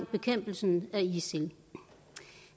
bekæmpelse af isil